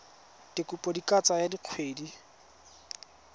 dikopo di ka tsaya dikgwedi